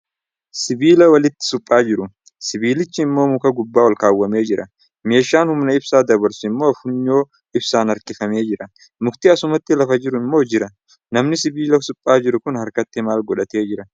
Sibiila walitti suphaa jiru. Sibiilichi immo muka gubbaa ol kaawwamee jira. Meeshaan humna ibsaa dabarsu immoo funyoo ibsaan harkifamee jira. Mukti akkasumatti lafa jiru immoo jira. Namni sibiila suphaa jiru kun harkatti maal godhatee jira?